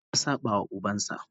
A'a, ya saba wa ubansa.